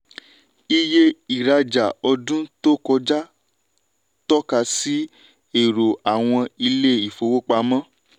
iye ìrajà ọdún tó kọjá tọ́ka sí èrò àwọn ilé ìfowópamọ́.